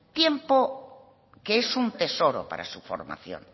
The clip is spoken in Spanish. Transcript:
tiempo que es un tesoro para su formación